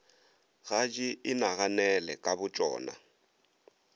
ga di inaganele ka botšona